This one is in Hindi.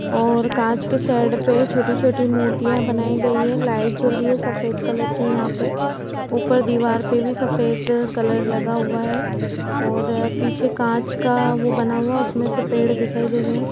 ओर काच के शेड पे छोटी-छोटी मूर्तिया बनाई गई है लाइट जल रही है सफ़ेद कलर की यहाँ पे ऊपर दीवार पे भी सफेद कलर लगा हुआ है और पीछे काच का वो बना हुआ उसमे से पेड़ दिखाई दे रहे है।